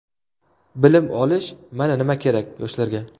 Bilim olish – mana nima kerak yoshlarga.